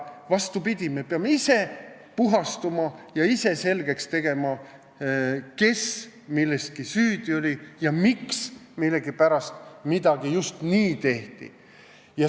Vastupidi, me peame ise puhastuma ja ise selgeks tegema, kes milleski süüdi oli ja miks midagi just nii tehti.